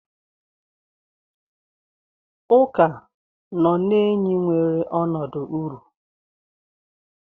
Uka nọ na enyi nwere ọnọdụ uru.